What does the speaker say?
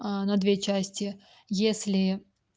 на две части если